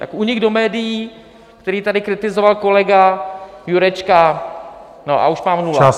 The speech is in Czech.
Tak únik do médií, který tady kritizoval kolega Jurečka - No, a už mám nula.